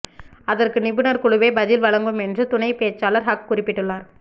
அதற்கு நிபுணர் குழுவே பதில் வழங்கும் என்று துணைப்பேச்சாளர் ஹக் குறிப்பிட்டுள்ளார்